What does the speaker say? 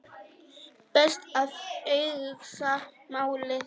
Best að hugsa málið.